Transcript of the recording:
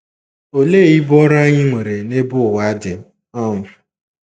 Olee ibu ọrụ anyị nwere n'ebe ụwa dị? um